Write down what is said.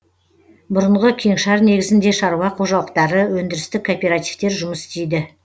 бұрынғы кеңшар негізінде шаруа қожалықтары өндірістік кооперативтер жұмыс істейді